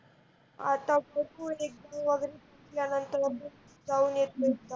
आता बघु exame वगैरह झाल्य़ा नंतर जाउन येते एकदा